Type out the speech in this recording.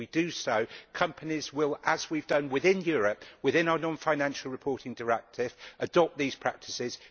and, if we do so, companies will, as we have done within Europe within our non financial reporting directive, adopt these practices.